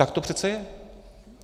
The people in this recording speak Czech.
Tak to přece je.